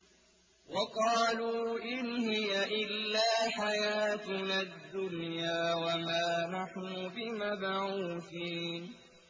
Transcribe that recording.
وَقَالُوا إِنْ هِيَ إِلَّا حَيَاتُنَا الدُّنْيَا وَمَا نَحْنُ بِمَبْعُوثِينَ